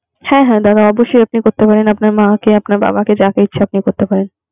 হ্যাঁ হ্যাঁ দাদা অবশ্যই। আপনার মাকে আপনার বাবাকে যাকে ইচ্ছা করতে আপনি পারেন।